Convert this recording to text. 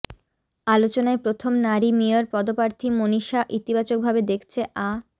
আলোচনায় প্রথম নারী মেয়র পদপ্রার্থী মনীষা ইতিবাচকভাবে দেখছে আ